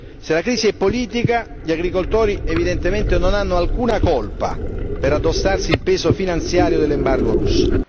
Se la crisi è politica, gli agricoltori evidentemente non hanno alcuna colpa per addossarsi il peso finanziario dell'embargo russo.